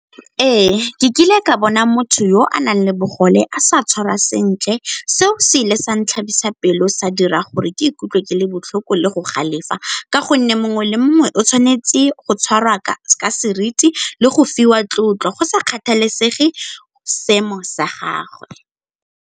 Ee, ke kile ka bona motho yo a nang le bogole a sa tshwarwa sentle. Seo se ile santlhabisa pelo sa dira gore ke ikutlwe ke le botlhoko le go galefela ka gonne mongwe le mongwe o tshwanetse go tshwarwa ka seriti le go fiwa tlotlo, go sa kgathalesege seemo sa gagwe.